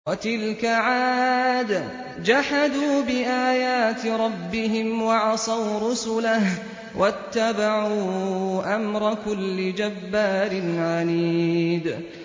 وَتِلْكَ عَادٌ ۖ جَحَدُوا بِآيَاتِ رَبِّهِمْ وَعَصَوْا رُسُلَهُ وَاتَّبَعُوا أَمْرَ كُلِّ جَبَّارٍ عَنِيدٍ